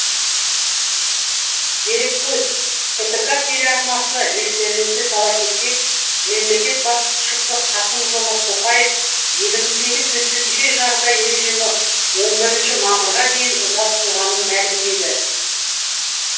дереккөз ктк телеарнасы естеріңізге сала кетсек мемлекет басшысы қасым жомарт тоқаев еліміздегі төтенше жағдай режимі он бірінші мамырға дейін ұзартылғанын мәлімдеді